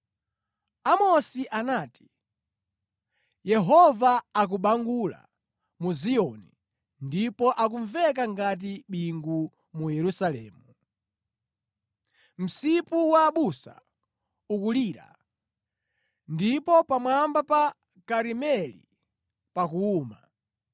Amosi anati: “Yehova akubangula mu Ziyoni ndipo akumveka ngati bingu mu Yerusalemu; msipu wa abusa ukulira, ndipo pamwamba pa Karimeli pakuwuma.”